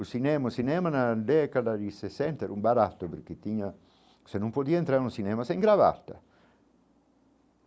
O cinema, o cinema na década de sessenta era barato porque tinha, você não podia entrar no cinema, sem gravata.